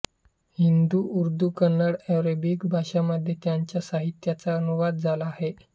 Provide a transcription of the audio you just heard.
Hindi Urdu Kannada Arabic भाषांमध्ये त्यांच्या साहित्याचा अनुवाद झाला आहे